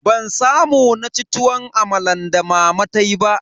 Ban samu naci tuwon amalan da mama tayi ba.